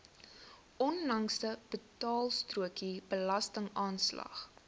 onlangse betaalstrokie belastingaanslag